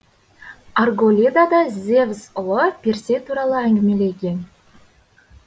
арголида да зевс ұлы персей туралы әңгімелеген